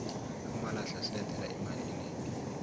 amalahle asilethela imali enegi